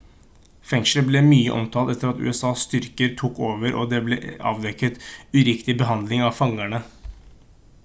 fengselet ble mye omtalt etter at usas styrker tok over og det ble avdekket uriktig behandling av fangene